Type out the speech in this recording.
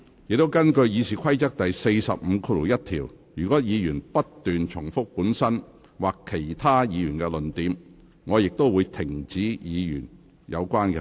根據《議事規則》第451條，若議員不斷重提本身或其他議員的論點，我亦會指示有關議員停止發言。